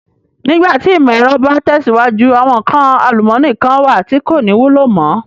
Nígbà tí ìmò ẹ̀rọ bá tẹ̀síwájú, àwọn nǹkan àlùmọ́ọ́nì kán wà tí kò ní wúlò mo.